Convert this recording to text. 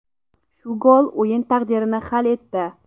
Shu gol o‘yin taqdirini hal etdi.